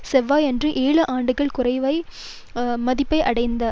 செவ்வாயன்று ஏழு ஆண்டுகள் குறைவான மதிப்பை அடைந்தது